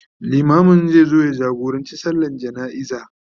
limamin zai zo ya jagorancin sallan jana'iza